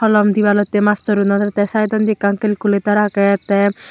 holom debalotay mastor unore te saidonni ekkan calculator agey te.